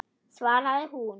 svaraði hún.